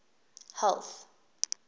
health